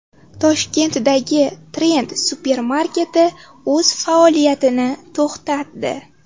Toshkentdagi Trend supermarketi o‘z faoliyatini to‘xtatdi.